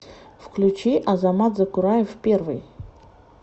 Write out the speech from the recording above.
включи азамат закураев первый